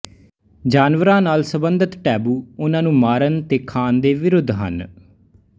ਜਾਨਵਰਾਂ ਨਾਲ ਸਬੰਧਿਤ ਟੈਬੂ ਉਹਨਾਂ ਨੂੰ ਮਾਰਨ ਤੇ ਖਾਣ ਦੇ ਵਿਰੁੱਧ ਹਨ